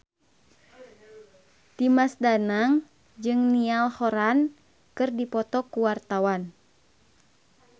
Dimas Danang jeung Niall Horran keur dipoto ku wartawan